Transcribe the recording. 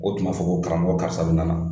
O tuma ma fɔ ko karamɔgɔ karisa bɛ nana.